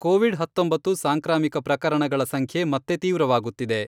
Covid ಹತ್ತೊಂಬತ್ತು ಸಾಂಕ್ರಾಮಿಕ ಪ್ರಕರಣಗಳ ಸಂಖ್ಯೆ ಮತ್ತೆ ತೀವ್ರವಾಗುತ್ತಿದೆ.